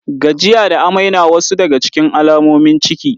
Gajiya da amai na wasu daga cikin alamomin ciki.